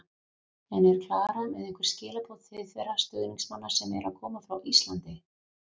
En er Klara með einhver skilaboð til þeirra stuðningsmanna sem eru að koma frá Íslandi?